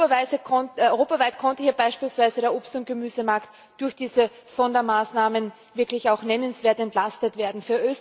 Europaweit konnte hier beispielsweise der Obst und Gemüsemarkt durch diese Sondermaßnahmen wirklich auch nennenswert entlastet werden.